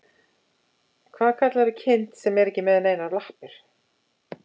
Hvað kallarðu kind sem er ekki með neinar lappir?